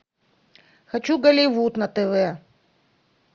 хочу голливуд на тв